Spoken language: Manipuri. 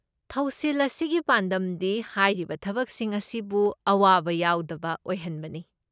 ꯊꯧꯁꯤꯜ ꯑꯁꯤꯒꯤ ꯄꯥꯟꯗꯝꯗꯤ ꯍꯥꯏꯔꯤꯕ ꯊꯕꯛꯁꯤꯡ ꯑꯁꯤꯕꯨ ꯑꯋꯥꯕ ꯌꯥꯎꯗꯕ ꯑꯣꯏꯍꯟꯕꯅꯤ꯫